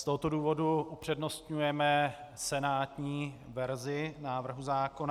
Z tohoto důvodu upřednostňujeme senátní verzi návrhu zákona.